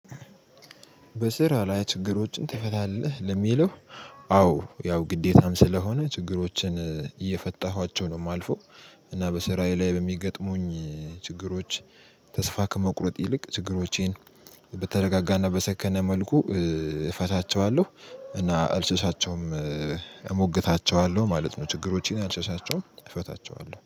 በስራ ላይ ችግሮችን ትፈታለህ ለሚለው? አዎ ያው ግዴታም ስለሆነ ችግሮችን እየፈታዋቸው ነው የማልፈው። እና በስራዬ ላይ በሚገጥሙኝ ችግሮች ተስፋ ከመቁረጥ ይልቅ ችግሮቼን በተረጋጋ እና በሰከነ መልኩ እፈታቸዋለሁ እና አልሸሻቸውም። እሞግታቸዋለሁ ማለት ነው ችግሮችን አልሸሳቸውም እፈታቸዋለሁ